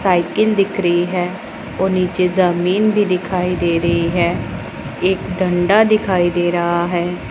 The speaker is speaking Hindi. साइकिल दिख रही है और नीचे ज़मीन भी दिखाई दे रही है एक डंडा दिखाई दे रहा है।